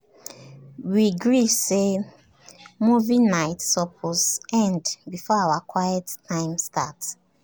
we gree say movie nights suppose end before our quiet time start.